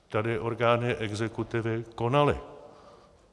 Tady orgány exekutivy konaly.